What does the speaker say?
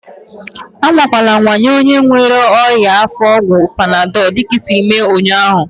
Anwakwala anwa enye onye nwere ọnyá afọ ọgwụ panadọl dịka isiiri mee ụnyaahụ!